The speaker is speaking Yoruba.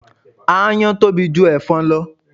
Aáyán tóbi ju ẹ̀fọn lọ